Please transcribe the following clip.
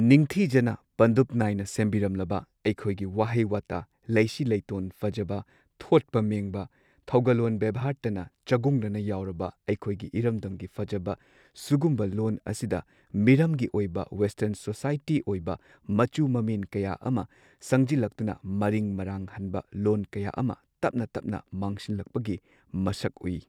ꯅꯤꯡꯊꯤꯖꯅ ꯄꯟꯗꯨꯞ ꯅꯥꯏꯅ ꯁꯦꯝꯕꯤꯔꯝꯂꯕ ꯑꯩꯈꯣꯏꯒꯤ ꯋꯥꯍꯩ ꯋꯥꯇꯥ ꯂꯩꯁꯤ ꯂꯩꯇꯣꯟ ꯐꯖꯕ ꯊꯣꯠꯄ ꯃꯦꯡꯕ ꯊꯧꯒꯜꯂꯣꯟ ꯕꯦꯚꯥꯔꯇꯅ ꯆꯒꯨꯡꯅꯅ ꯌꯥꯎꯔꯕ ꯑꯩꯈꯣꯏꯒꯤ ꯏꯔꯝꯗꯝꯒꯤ ꯐꯖꯕ ꯁꯨꯒꯨꯝꯕ ꯂꯣꯟ ꯑꯁꯤꯗ ꯃꯤꯔꯝꯒꯤ ꯑꯣꯏꯕ ꯋꯦꯁꯇꯔꯟ ꯁꯣꯁꯥꯏꯇꯤ ꯑꯣꯏꯕ ꯃꯆꯨ ꯃꯃꯦꯟ ꯀꯌꯥ ꯑꯃ ꯁꯪꯖꯤꯜꯂꯛꯇꯨꯅ ꯃꯔꯤꯡ ꯃꯔꯥꯡꯍꯟꯕ ꯂꯣꯟ ꯀꯌꯥ ꯑꯃ ꯇꯞꯅ ꯇꯞꯅ ꯃꯥꯡꯁꯤꯜꯂꯛꯄꯒꯤ ꯃꯁꯛ ꯎꯏ꯫